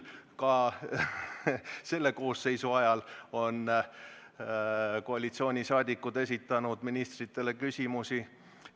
Ka selle koosseisu ajal on koalitsiooniliikmed esitanud ministritele küsimusi.